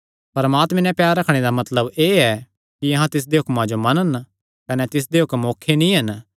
परमात्मे नैं प्यार रखणे दा मतलब एह़ ऐ कि अहां तिसदे हुक्मां जो मनन कने तिसदे हुक्म औखे नीं हन